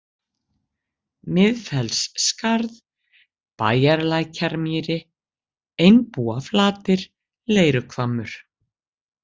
Miðfellsskarð, Bæjarlækjarmýri, Einbúaflatir, Leiruhvammur